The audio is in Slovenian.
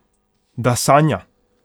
Da sanja!